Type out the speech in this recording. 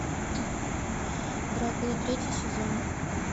дракула третий сезон